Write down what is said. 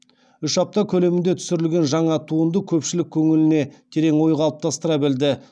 үш апта көлемінде түсірілген жаңа туынды көпшілік көңіліне терең ой қалыптастыра білді